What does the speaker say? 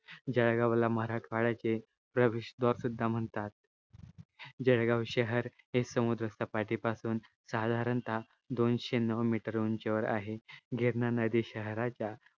जळगावला मराठावाड्याचे प्रवेश दार सुद्धा म्हणतात जळगाव शहर हे समुद्र सपाटी पासून साधारणता दोनशे नऊ मीटर उंची वर आहे गिरणा नदी शहराचा